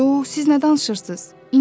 Yox, siz nə danışırsız?